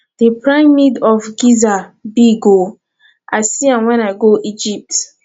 the pyramid of giza big oo i see am wen i go egypt